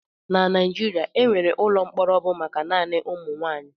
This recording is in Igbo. Na Naijiria, enwere ụlọ mkpọrọ bụ maka naanị ụmụ nwaanyị.